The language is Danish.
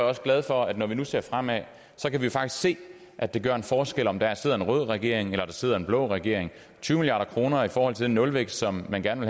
også glad for at når vi nu ser fremad så kan vi faktisk se at det gør en forskel om der sidder en rød regering eller der sidder en blå regering tyve milliard kroner i forhold til den nulvækst som man gerne